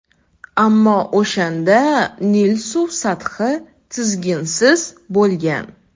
Ammo o‘shanda Nil suv sathi tizginsiz bo‘lgan.